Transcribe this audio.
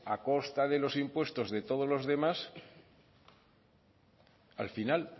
a costa de los impuestos de todos los demás al final